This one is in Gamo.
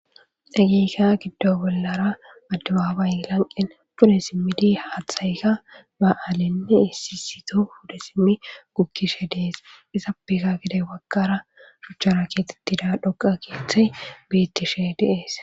dhageyka giddo bollara adabaabay lanqen pude simmidi haaththayka ba7aalinne issisito pude simmi gukkishe dees isa pika gidey waggara shuchchara keetettida dhoqa keethay biittishe deees